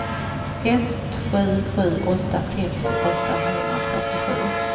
ett sju sju åtta femtio åttahundrafyrtiosju